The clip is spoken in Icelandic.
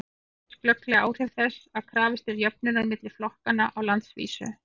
hér sjást glögglega áhrif þess að krafist er jöfnunar milli flokkanna á landsvísu